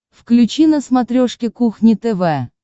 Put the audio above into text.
включи на смотрешке кухня тв